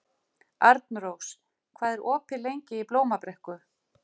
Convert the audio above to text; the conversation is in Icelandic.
Arnrós, hvað er opið lengi í Blómabrekku?